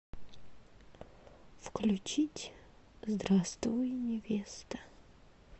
включить здравствуй невеста